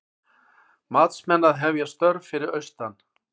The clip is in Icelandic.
Matsmenn að hefja störf fyrir austan